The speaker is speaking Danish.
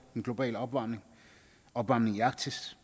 den globale opvarmning opvarmningen i arktis